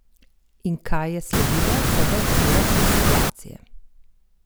In kaj je sledilo po več urah te situacije?